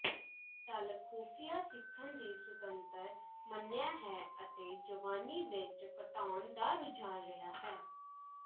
ਚੱਲ ਖੁਫੀਆ ਸਿੱਖਣ ਦੀ ਸੁਤੰਤਰ ਮੰਨਿਆ ਹੈ ਅਤੇ ਜਵਾਨੀ ਵਿਚ ਘਟਾਉਣ ਦਾ ਰੁਝਾਨ ਰਿਹਾ ਹੈ